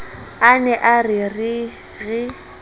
a ne a re re